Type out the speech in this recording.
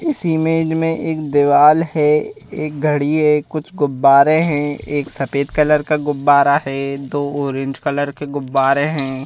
इस इमेज में एक दीवार है एक घड़ी है कुछ गुब्बारे हैं एक सफेद कलर का गुब्बारा है दो ऑरेंज कलर के गुब्बारे हैं।